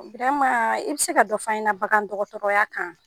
Biram i bɛ se ka dɔ fɔ an ɲɛ na bagan dɔgɔtɔrɔya kan?